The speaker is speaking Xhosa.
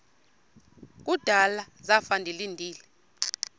kudala zafa ndilinde